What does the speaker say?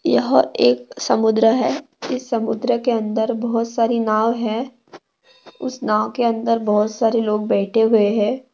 यह एक समुद्र है इस समुद्र के अंदर बहुत सारी नाव है उस नाव के अंदर बहुत सारे लोग बैठे हुए है।